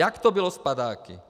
Jak to bylo s padáky?